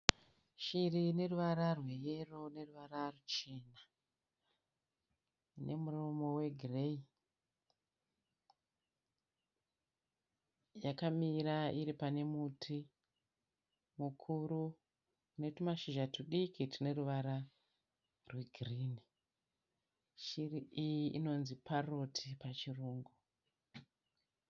Shiri ine ruvara rweyero neruvara ruchena nemuromo wegireyi. Yakamira iri pane muti mukuru une tumashizha tudiki tune ruvara rwegirini. Shiri iyi inonzi 'Parrot' pachirungu.